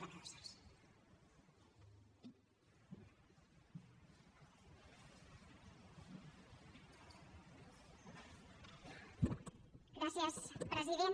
gràcies president